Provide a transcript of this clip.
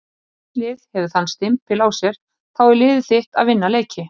Ef þitt lið hefur þann stimpil á sér þá er liðið þitt að vinna leiki.